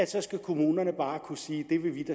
så skal kommunerne bare kunne sige